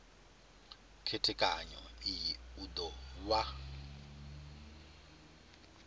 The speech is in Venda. khethekanyo iyi u do vha